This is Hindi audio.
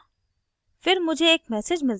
इसमें थोड़ा समय लगा